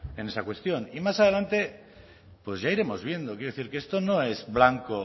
en esa cuestión y más adelante pues ya iremos viendo quiero decir que esto no es blanco